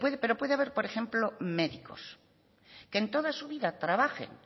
pero puede haber por ejemplo médicos que en toda su vida trabajen